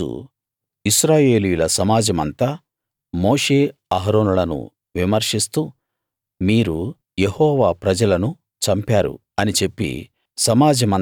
తరువాత రోజు ఇశ్రాయేలీయుల సమాజమంతా మోషే అహరోనులను విమర్శిస్తూ మీరు యెహోవా ప్రజలను చంపారు అని చెప్పి